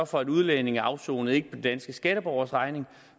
for at udlændinge afsoner ikke på danske skatteborgeres regning